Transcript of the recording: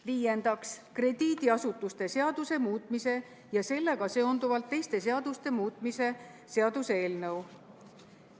Viiendaks, krediidiasutuste seaduse muutmise ja sellega seonduvalt teiste seaduste muutmise seaduse eelnõu.